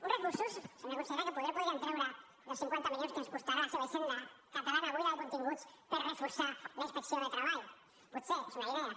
uns recursos senyora consellera que potser podrien treure dels cinquanta milions que ens costarà la seva hisenda catalana buida de continguts per reforçar la inspecció de treball potser és una idea